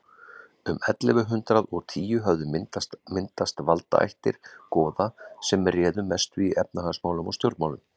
um ellefu hundrað og tíu höfðu myndast valdaættir goða sem réðu mestu í efnahagsmálum og stjórnmálum